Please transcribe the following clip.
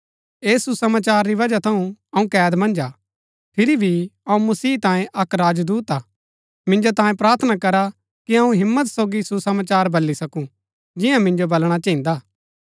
ऐस सुसमाचार री वजह थऊँ अऊँ कैद मन्ज हा फिरी भी अऊँ मसीह तांये अक्क राजदूत हा मिन्जो तांये प्रार्थना करा कि अऊँ हिम्मत सोगी सुसमाचार बली सकूँ जिन्या मिन्जो बलणा चहिन्दा